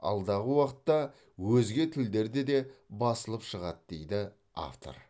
алдағы уақытта өзге тілдерде де басылып шығады дейді автор